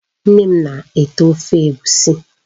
Nne m na-ete Ofe Egwusi